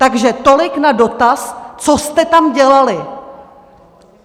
Takže tolik na dotaz, co jste tam dělali!